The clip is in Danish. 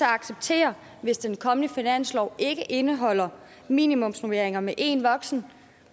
acceptere hvis den kommende finanslov ikke indeholder minimumsnormeringer med én voksen